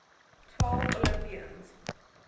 twelve olympians